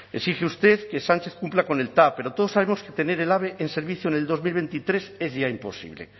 exige usted que sánchez cumpla con el tav pero todos sabemos que tener el ave en servicio en el dos mil veintitrés es ya imposible